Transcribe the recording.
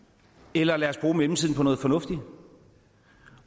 eller lad os bruge mellemtiden på noget fornuftigt